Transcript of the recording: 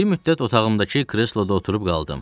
Bir müddət otağımdakı kresloda oturub qaldım.